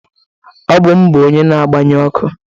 Ọ bụ m bụ onye na-agbanye ọkụ